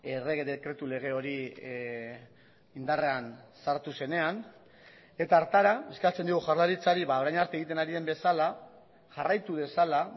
errege dekretu lege hori indarrean sartu zenean eta hartara eskatzen dio jaurlaritzari orain arte egiten ari den bezala jarraitu dezala